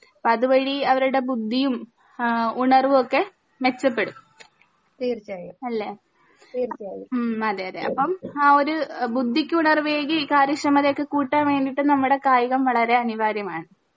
അപ്പൊ അതുവഴി അവരുടെ ബുദ്ധിയും ആ ഉണർവൊക്കെ മെച്ചപ്പെടും അല്ലെ ഉം അതെ അതെ അപ്പൊ ആ ഒരു ബുദ്ധിക്ക് ഉണർവേകി കാര്യാ ക്ഷമതെയൊക്കെ കൂട്ടാൻ വേണ്ടീട്ട് നമ്മടെ കായികം വളരെ അനിവാര്യമാണ്